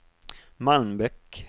Malmbäck